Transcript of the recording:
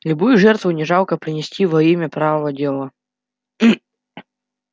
любую жертву не жалко принести во имя правого дела